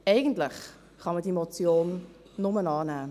Eigentlich kann man diese Motion nur annehmen.